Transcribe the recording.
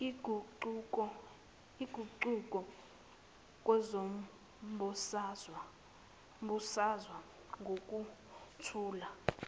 iguquko kwezombusazwe ngokuthula